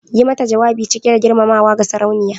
Yi mata jawabi cike da girmamawa ga Sarauniya